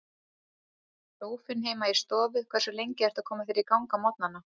Sófinn heima í stofu Hversu lengi ertu að koma þér í gang á morgnanna?